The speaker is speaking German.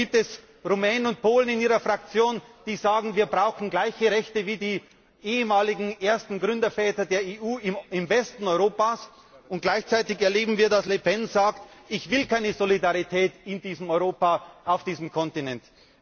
Da gibt es Rumänen und Polen in Ihrer Fraktion, die sagen Wir brauchen gleiche Rechte wie die Gründerväter der EU im Westen Europas, und gleichzeitig erleben wir, dass Le Pen sagt Ich will keine Solidarität in diesem Europa, auf diesem Kontinent.